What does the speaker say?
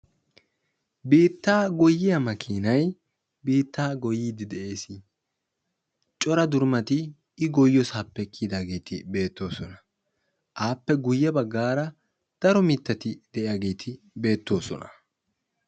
Biitta goyiya maakinay biittta goyyidde beetees. I goyiyyo heeran biittappe kiyidda durummatti beetosonna.